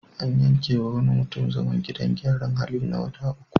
An yankewa wani mutum zaman gidan gyaran hali na wata uku.